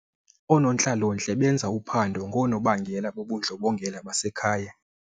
Oonontlalontle benza uphando ngoonobangela bobundlobongela basekhaya.